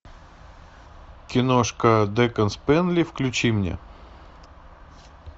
киношка декан спэнли включи мне